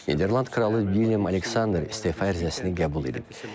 Niderland kralı William Aleksandr istefa ərizəsini qəbul edib.